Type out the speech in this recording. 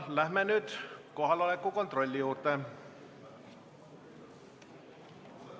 Läheme nüüd kohaloleku kontrolli juurde.